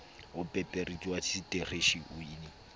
opereitara ya seteishene le d